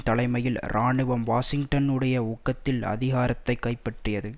தலைமையில் இராணுவம் வாஷிங்டனுடைய ஊக்கத்தில் அதிகாரத்தை கைப்பற்றியது